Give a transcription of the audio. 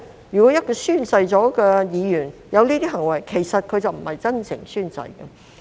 如果一名已宣誓的議員有這些行為，其實已不是真誠宣誓。